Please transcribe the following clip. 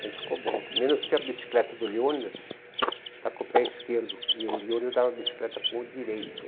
Mas ficou bom, menos que a bicicleta do Leônidas está com o pé esquerdo e o Leônidas dava a bicicleta com o direito.